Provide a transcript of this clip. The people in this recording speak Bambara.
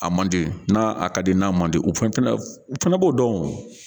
A man di, n'a a ka di, n'a man di o fɛn fɛnɛ o fɛnɛ b'o dɔn o.